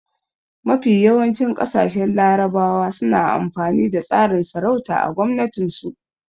Mafi yawancin ƙasashen larabawa suna amfani da tsarin sarauta a gwamnatin su